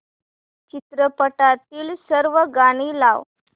चित्रपटातील सर्व गाणी लाव